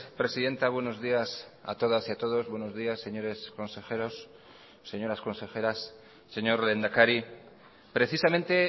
presidenta buenos días a todas y a todos buenos días señores consejeros señoras consejeras señor lehendakari precisamente